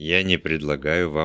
я не предлагаю вам